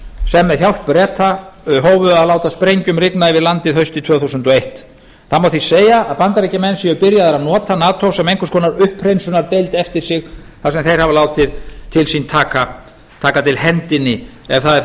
sem með hjálp breta hófu að láta sprengjum rigna yfir landið haustið tvö þúsund og eitt það má því segja að bandaríkjamenn séu byrjaðir að nota nato sem einhvers konar upphreinsunardeild eftir sig þar sem þeir hafa látið til sín taka taka til hendinni ef það er þá